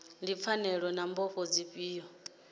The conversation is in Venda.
ndi pfanelo na mbofho dzifhio